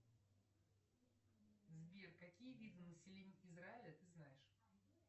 сбер какие виды населения израиля ты знаешь